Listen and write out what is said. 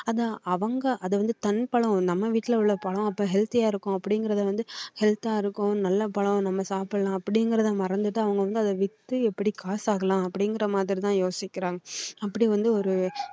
அதை அவங்க அதை வந்து தன் பழம் நம்ம வீட்ல உள்ள பழம் அப்போ healthy யா இருக்கும் அப்படிங்கறத வந்து health ஆ இருக்கும் நல்ல பழம் நம்ம சாப்பிடலாம் அப்படிங்கறது மறந்துட்டு அவங்க வந்து அதை வித்து எப்படி காசாக்கலாம் அப்படிங்கற மாதிரி தான் யோசிக்கிறாங்க அப்படி வந்து ஒரு